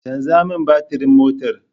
Canza min batirin motar